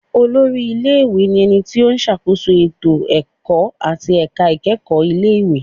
Olórí ilé-ìwé ni ẹni tí ó ṣàkóso ètò ẹ̀kọ́ àti ẹ̀ka ìkẹ́kọ̀ọ́ ilé ìwé